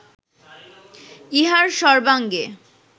ইহার সর্ব্বাঙ্গে